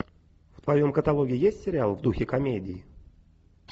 в твоем каталоге есть сериал в духе комедии